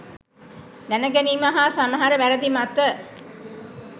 දැනගැනීම හා සමහර වැරදි මත